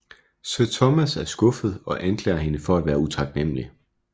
Sir Thomas er skuffet og anklager hende for at være utaknemmelig